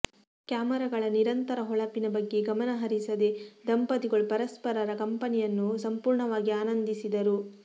ಕ್ಯಾಮರಾಗಳ ನಿರಂತರ ಹೊಳಪಿನ ಬಗ್ಗೆ ಗಮನ ಹರಿಸದೆ ದಂಪತಿಗಳು ಪರಸ್ಪರರ ಕಂಪನಿಯನ್ನು ಸಂಪೂರ್ಣವಾಗಿ ಆನಂದಿಸಿದರು